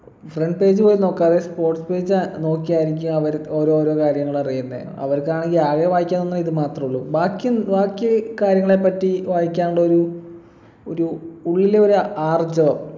front page കൾ നോക്കാതെ sports page അഹ് നോക്കി ആയിരിക്കും അവര് ഓരോരോ കാര്യങ്ങളറിയുന്നെ അവർക്കാണെങ്കി ആകെ വായിക്കുന്നത് ഇത് മാത്രേ ഉള്ളു ബാക്കിയും ബാക്കി കാര്യങ്ങളെപ്പറ്റി വായിക്കാനുള്ളെ ഇത് മാത്രേ ഉള്ളൂ ബാക്കിയും ബാക്കി കാര്യങ്ങളെ പറ്റി വായിക്കാനുള്ള ഒരു ഒരു ഉള്ളിലെ ഒരു ആർജവം